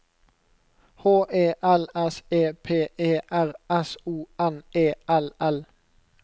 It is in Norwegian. H E L S E P E R S O N E L L